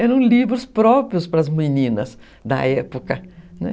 Eram livros próprios para as meninas da época, né?